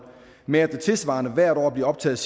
med at der tilsvarende hvert år bliver optaget